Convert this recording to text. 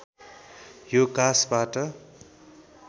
यो काँसबाट